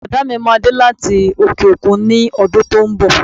Bọ̀dá mi máa dé láti òkè-òkun ní ọdún tó ń bọ̀